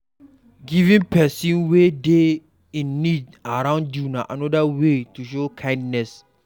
Giving persin wey de in need around you na another way to show kindness